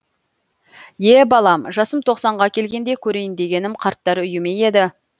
е балам жасым тоқсанға келгенде көрейін дегенім қарттар үйі ме еді